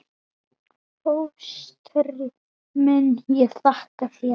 Fóstri minn, ég þakka þér.